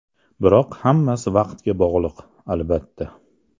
Biroq hammasi vaqtga bog‘liq, albattta.